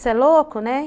Você é louco, né.